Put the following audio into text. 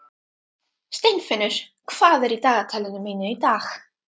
Steinfinnur, hvað er í dagatalinu mínu í dag?